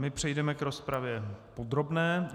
My přejdeme k rozpravě podrobné.